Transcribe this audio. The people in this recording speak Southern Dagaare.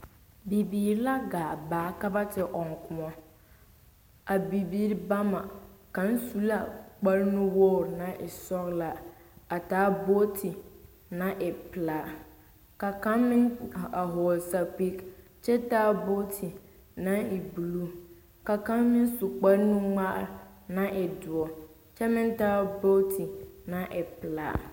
Bibiire la gaa baa ka ba te ɔŋ kuɔ. A bie kaŋa su la kparenuwogre naŋ e sɔglaa kyɛ taa bootu naŋ e pilaa.A bie kaŋ meŋ vɔgle la sapige kyɛ taa bootu naŋ e buluu. Kaŋa meŋ sula kparenugmaa naŋ waa duɔ meŋ taa bootu pilaa